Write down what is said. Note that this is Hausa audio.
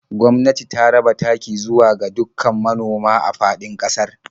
Gwamnati ta raba taki zuwa ga dukkan manoma a faɗin ƙasar.